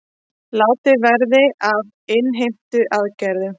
Látið verði af innheimtuaðgerðum